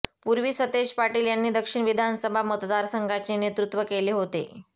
पूर्वी सतेज पाटील यांनी दक्षिण विधानसभा मतदारसंघाचे नेतृत्व केले होते